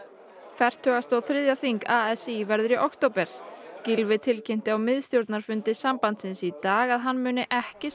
fertugasta og þriðja þing a s í verður í október Gylfi tilkynnti á miðstjórnarfundi sambandsins í dag að hann muni ekki